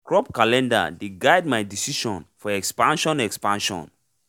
crop calender dey guide my decision for expansion expansion